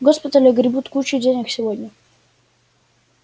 госпитали огребут кучу денег сегодня